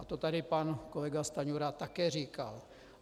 A to tady pan kolega Stanjura také říkal.